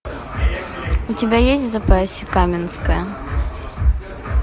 у тебя есть в запасе каменская